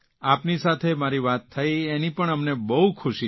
આપની સાથે મારી વાત થઇ તેની પણ અમને બહુ ખૂશી છે